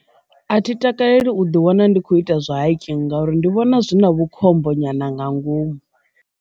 A thi takaleli u ḓi wana ndi kho ita zwa hiking ngauri ndi vhona zwi na vhukhombo nyana nga ngomu.